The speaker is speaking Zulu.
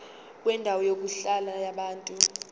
kwendawo yokuhlala yabantu